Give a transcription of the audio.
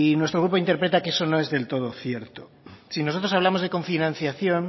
nuestro grupo interpreta que eso no es del todo cierto si nosotros hablamos de cofinanciación